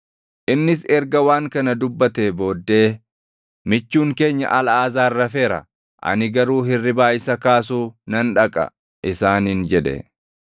Innis erga waan kana dubbatee booddee, “Michuun keenya Alʼaazaar rafeera; ani garuu hirribaa isa kaasuu nan dhaqa” isaaniin jedhe.